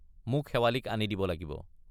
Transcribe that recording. মোক শেৱালিক আনি দিব লাগিব।